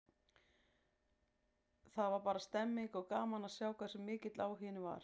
Það var bara stemmning, og gaman að sjá hversu mikill áhuginn var.